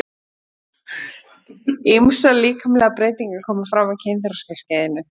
Ýmsar líkamlegar breytingar koma fram á kynþroskaskeiðinu.